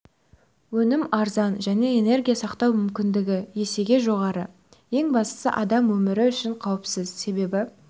өнім арзан және энергия сақтау мүмкіндігі есеге жоғары ең бастысы адам өмірі үшін қауіпсіз себебі